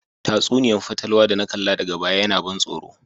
Tatsuniya'n fatalwa da na kalla daga baya yana ban soro.